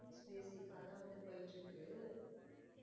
Basic கா நான் போயிட்டு இருக்கு.